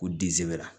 K'u disi bɛra